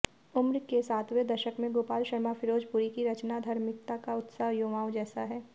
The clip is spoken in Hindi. उम्र के सातवें दशक में गोपाल शर्मा फिरोजपुरी की रचनाधर्मिता का उत्साह युवाओं जैसा है